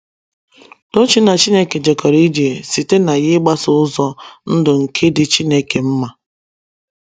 Tochi‘ na Chineke jekọrọ ije ’ site na ya ịgbaso ụzọ ndụ nke dị Chineke mma.